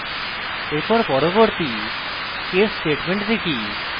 এখন পরবর্তী case statement দেখি